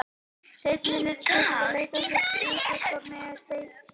Seinni hluti spurningarinnar lýtur að því hvort útvarpa megi símtali.